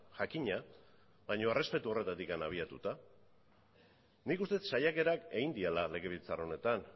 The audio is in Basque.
jakina baina errespetu horretatik abiatuta nik uste dut saiakerak egin direla legebiltzar honetan